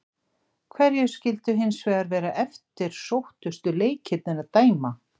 Hverjir skyldu hins vegar vera eftirsóttustu leikirnir að dæma?